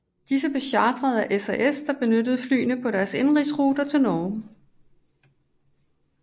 Disse blev chartret af SAS der benyttede flyene på deres indenrigsruter i Norge